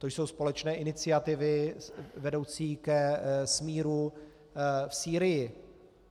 To jsou společné iniciativy vedoucí ke smíru v Sýrii.